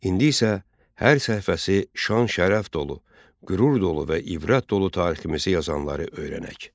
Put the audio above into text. İndi isə hər səhifəsi şan-şərəf dolu, qürur dolu və ibrət dolu tariximizi yazanları öyrənək.